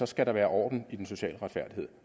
skal der være orden i den sociale retfærdighed